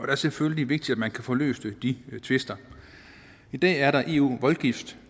det selvfølgelig vigtigt at man kan få løst de tvister i dag er der eu voldgift